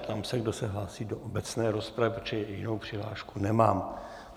Ptám se, kdo se hlásí do obecné rozpravy, protože jinou přihlášku nemám.